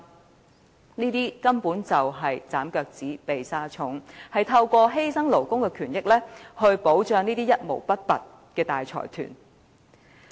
這種做法根本是"斬腳趾避沙蟲"，透過犧牲勞工權益來保障那些一毛不拔的大財團。